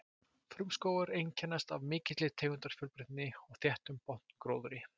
Frumskógar einkennast af mikilli tegundafjölbreytni og þéttum botngróðri.